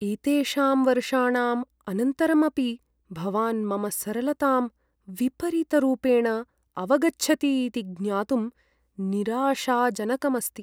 एतेषां वर्षाणाम् अनन्तरम् अपि भवान् मम सरलतां विपरीतरूपेण अवगच्छति इति ज्ञातुं निराशाजनकम् अस्ति।